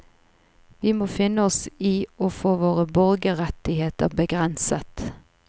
Vi må finne oss i å få våre borgerrettigheter begrenset.